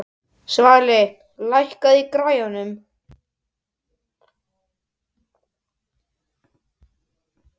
Svali, lækkaðu í græjunum.